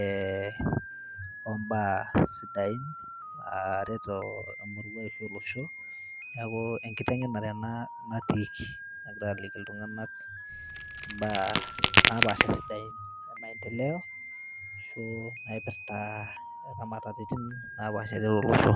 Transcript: eh ombaa sidain naret emurua ashu olosho niaku enkiteng'enare ena natiiki nagirae aliki iltung'anak imbaa napaasha sidain e maendeleo ashu naipirrta ramatetin napaasha tiatua olosho.